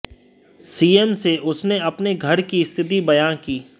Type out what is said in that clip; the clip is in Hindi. सीएम से उसने अपने घर की स्थिति बयान की